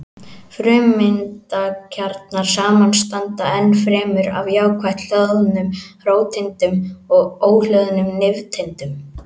Frumeindakjarnar samanstanda ennfremur af jákvætt hlöðnum róteindum og óhlöðnum nifteindum.